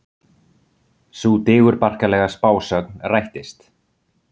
Sú digurbarkalega spásögn rættist.